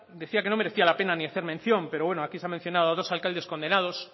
decía que no merecía la pena ni hacer mención pero bueno aquí se ha mencionado a dos alcaldes condenados